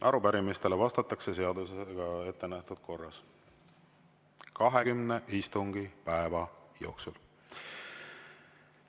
Arupärimistele vastatakse seadusega ettenähtud korras 20 istungipäeva jooksul.